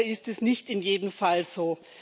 Leider ist es nicht in jedem Fall so.